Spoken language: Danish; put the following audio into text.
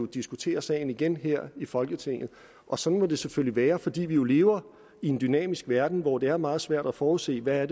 diskutere sagen igen her i folketinget og sådan må det selvfølgelig være fordi vi jo lever i en dynamisk verden hvor det er meget svært at forudse hvad